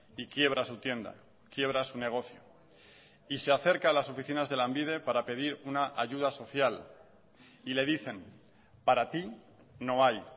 y quiebra su tienda quiebra su negocio y se acerca a las oficinas de lanbide para pedir una ayuda social y le dicen para ti no hay